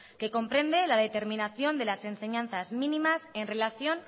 que comprende la determinación de las enseñanzas mínimas en relación